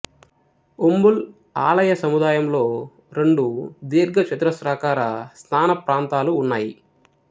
ఉంబుల్ ఆలయ సముదాయంలో రెండు దీర్ఘచతురస్రాకార స్నాన ప్రాంతాలు ఉన్నాయి